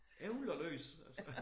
Ævler løs altså